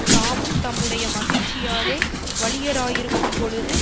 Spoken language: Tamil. தாமும் தம்முடைய மகிழ்ச்சியாலே வலியராயிருக்கும் பொழுது